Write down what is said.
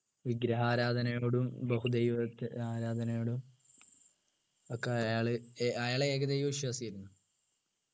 വിഗ്രഹാരാധനയോടും ബഹുദൈവത്തെ ആരാധനയോടും ഒക്കെ അയാള് അയാള് ഏകദൈവ വിശ്വാസിയായിരുന്നു